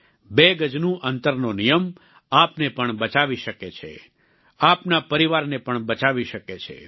બે ગજનું અંતરનો નિયમ આપને પણ બચાવી શકે છે આપના પરિવારને પણ બચાવી શકે છે